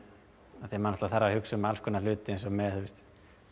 af því maður þarf að hugsa um alls konar hluti eins og með